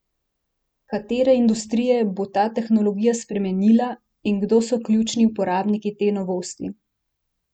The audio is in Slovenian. Katere industrije bo ta tehnologija spremenila in kdo so ključni uporabniki te novosti?